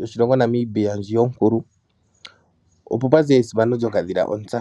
yoshilongo Namibia ndji onkulu opo pwazi esimano lyokadhila ontsa.